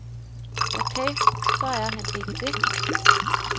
Okay, så er han ikke det.